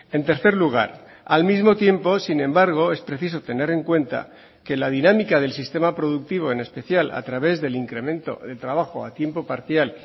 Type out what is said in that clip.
en tercer lugar al mismo tiempo sin embargo es preciso tener en cuenta que la dinámica del sistema productivo en especial a través del incremento de trabajo a tiempo parcial